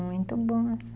Muito boas.